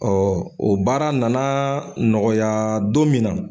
Ɔ o baara nana nɔgɔya don min na.